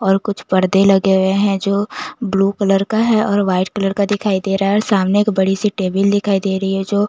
और कुछ पर्दे लगे हुए हैं जो ब्लू कलर का है और व्हाइट कलर का दिखाई दे रहा है और सामने एक बड़ी सी टेबल दिखाई दे रही है जो--